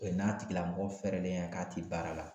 O n'a tigilamɔgɔ fɛɛrɛlen don k'a tɛ baara la.